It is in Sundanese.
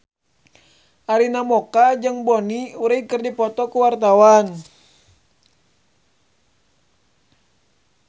Arina Mocca jeung Bonnie Wright keur dipoto ku wartawan